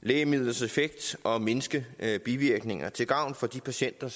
lægemidlers effekt samt mindske bivirkninger og til gavn for de patienter